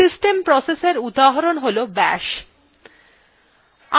system processএর উদাহরণ হল bash